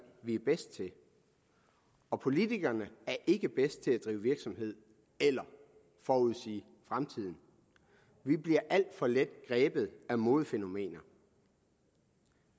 vi er bedst til og politikerne er ikke bedst til at drive virksomhed eller forudsige fremtiden vi bliver alt for let grebet af modefænomener